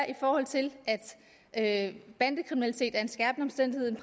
i forhold til at bandekriminalitet er en skærpende omstændighed